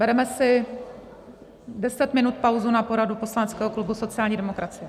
Bereme si 10 minut pauzu na poradu poslaneckého klubu sociální demokracie.